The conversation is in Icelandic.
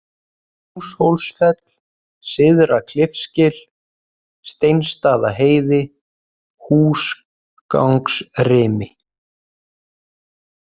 Húshólsfell, Syðra-Klifsgil, Steinsstaðaheiði, Húsgangsrimi